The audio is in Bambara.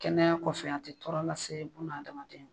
Kɛnɛya kɔfɛ an tɛ tɔɔrɔ lase bun adamaden ma